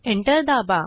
enter दाबा